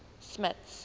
smuts